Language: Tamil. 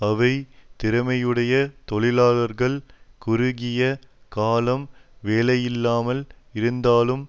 அவை திறமையுடைய தொழிலாளர்கள் குறுகிய காலம் வேலையில்லாமல் இருந்தாலும்